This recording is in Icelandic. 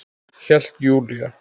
Hélt Júlía.